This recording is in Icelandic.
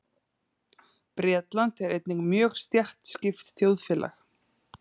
Bretland er einnig mjög stéttskipt þjóðfélag.